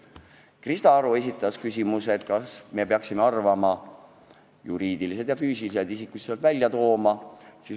Krista Aru küsis, kas algatajad kaalusid juriidilisi ja füüsilisi isikuid puudutavaid karistusi.